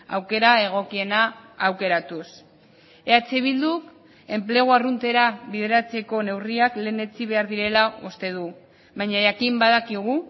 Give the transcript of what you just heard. aukera egokiena aukeratuz eh bilduk enplegu arruntera bideratzeko neurriak lehenetsi behar direla uste du baina jakin badakigu